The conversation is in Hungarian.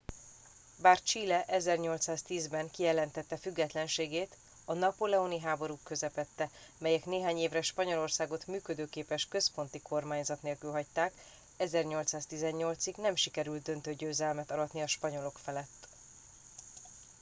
bár chile 1810-ben kijelentette függetlenségét a napóleoni háborúk közepette amelyek néhány évre spanyolországot működőképes központi kormányzat nélkül hagyták 1818-ig nem sikerült döntő győzelmet aratni a spanyolok felett